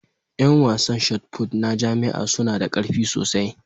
Yan wasan Shotput na jami'a suna da ƙarfi sosai